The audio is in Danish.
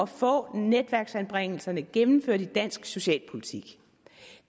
få netværksanbringelserne gennemført i dansk socialpolitik